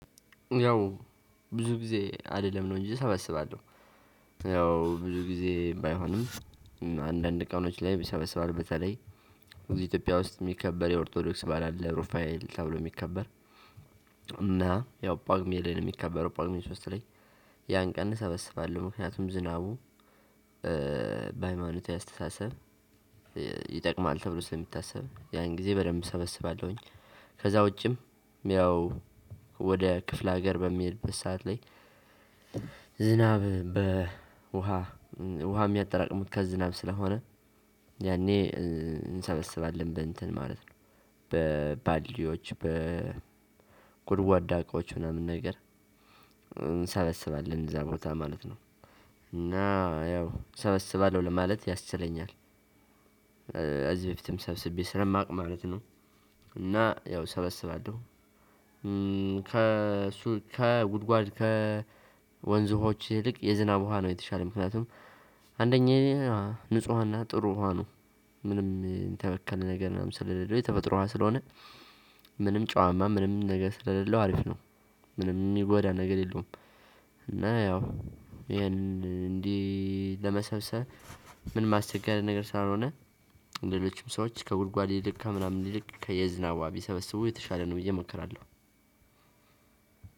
ያው ብዙ ጊዜ አልልም ነው እንጂ እሰበስባለሁ። ያው ብዙ ጊዜ ባይሆንም እ አንዳንድ ቀኖች ላይ ይሰበሰባል። በተለይ እዚ ኢትዮጵያ ውስጥ የሚከበር የኦርቶዶክስ በዓል አለ ሩፋኤል ተብሎ የሚከበር። እና ያው ጳጉሜ ላይ የሚከበረው ጳጉሜ ሶስት ላይ ያን ቀን እሰበስባለሁ። ምክንያቱም ዝናቡ እ በኃይማኖቴ አስተሳሰብ ይጠቅማል ተብሎ ስለሚታሰብ ያን ጊዜ በደንብ እሰበስባለሁኝ። ከዛ ውጭም ያው ወደ ክፍለሀገር በምሄድበት ሰዓት ላይ። ዝናብ በ ውሃ እ የሚያጠራቅሙት ከዝናብ ስለሆነ ያኔ እንሰበስባለን በእንትን ማለት ነው። በባሊዮዎች በ በጎድጓዳ እቃዎች ምናምን ነገር እንሰበስባለን። እዛ ቦታ ማለት ነው። እና ያው ሰበስባለሁ ለማለት ያስችለኛል። እ እዚህ በፊትም ሰብስቤ ስለማቅ ማለት ነው። እና ያው እሰበስባለሁ። እ ከእሱ ከጉድጓድ ከወንዝ ውሃዎች ይልቅ የዝናብ ውሃ ነው የተሻለ ምክንያቱም አንደኛ ንፁህና ጥሩ ውሃ ነው። ምንም እን ተበከለ ነገር ምናምን ስለሌለው የተፈጥሮ ውሃ ስለሆነ ምንም ጨዋማ ምንም ነገር ስለሌለው አሪፍ ነው። ምንም ሚጎዳ ነገር የለውም። እና ያው ያንን እንዲህ ለመሰብሰብ ምንም አስቸጋሪ ነገር ስላልሆነ ሌሎችም ሰዎች ከጉድጓድ ይልቅ ከምናምን ይልቅ ከየ ዝናብ ውሃ ቢሰበስቡ የተሻለ ነው ብዬ እመክራለሁ።